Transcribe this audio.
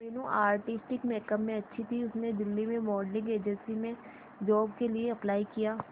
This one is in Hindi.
मीनू आर्टिस्टिक मेकअप में अच्छी थी उसने दिल्ली में मॉडलिंग एजेंसी में जॉब के लिए अप्लाई किया